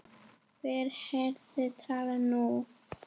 Hver verður talan nú?